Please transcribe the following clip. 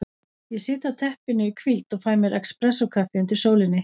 Ég sit á teppinu í hvíld og fæ mér expressókaffi undir sólinni.